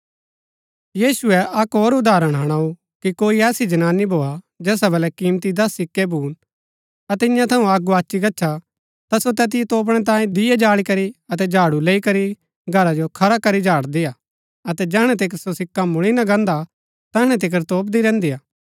यीशुऐ अक्क होर उदाहरण हुणाऊ कि कोई ऐसी जनानी भोआ जैसा बल्लै कीमती दस सिक्कै भून अतै ईयां थऊँ अक्क गोआची गच्छा ता सो तैतिओ तोपणै तांई दीये जाळी करी अतै झाडू लैई करी घरा जो खरा करी झाड़दी हा अतै जैहणै तिकर सो सिक्का मुळी ना गान्दा तैहणै तिकर तोपदी रैहन्‍दी हा